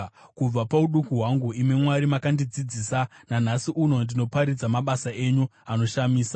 Kubva pauduku hwangu, imi Mwari, makandidzidzisa, nanhasi uno ndinoparidza mabasa enyu anoshamisa.